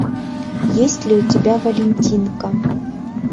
есть ли у тебя валентинка